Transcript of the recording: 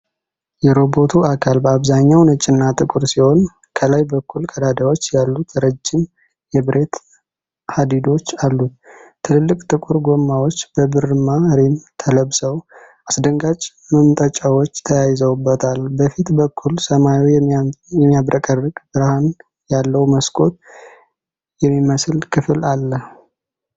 የሮቦቱ አካል በአብዛኛው ነጭና ጥቁር ሲሆን፣ ከላይ በኩል ቀዳዳዎች ያሉት ረጅም የብረት ሀዲዶች አሉት። ትልልቅ ጥቁር ጎማዎች በብርማ ሪም ተለብሰው፣ አስደንጋጭ መምጠጫዎች ተያይዘውበታል። በፊት በኩል ሰማያዊ የሚያብረቀርቅ ብርሃን ያለው መስኮት የሚመስል ክፍል አለ።